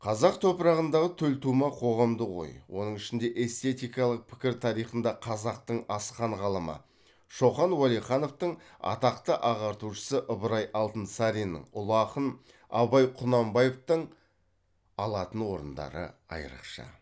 қазақ топырағындағы төлтума қоғамдық ой оның ішінде эстетикалық пікір тарихында қазақтың асқан ғалымы шоқан уәлихановтың атақты ағартушысы ыбырай алтынсариннің ұлы ақын абай құнанбаевтың алатын орындары айрықша